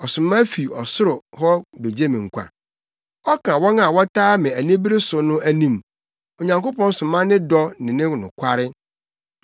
Ɔsoma fi ɔsoro hɔ begye me nkwa, ɔka wɔn a wɔtaa me anibere so no anim; Onyankopɔn soma ne dɔ ne ne nokware.